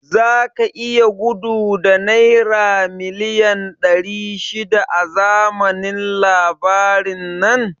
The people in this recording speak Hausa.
Zaka iya gudu da naira miliyan ɗari shida a zamanin labarin nan?